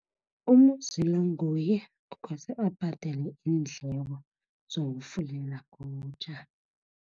UMuzi lo nguye ekose abhadele iindleko zokufulela ngobutjha.